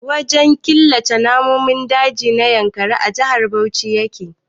Wajen killace namun daji na Yankari a Jihar Bauchi yake.